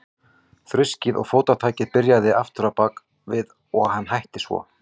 Þruskið og fótatakið byrjaði aftur á bak við hann og hætti svo.